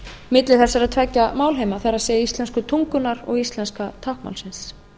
milli þessar tveggja málheima það er íslensku tungunnar og íslenska táknmálsins